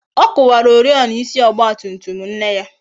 Ọ kuwara oriọna ịsị Ọgba tum tum nne ya